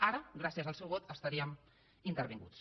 ara gràcies al seu vot estaríem intervinguts